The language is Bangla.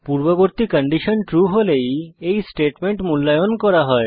পূর্ববর্তী কন্ডিশন ট্রু হলেই এই স্টেটমেন্ট মূল্যায়ন করা হয়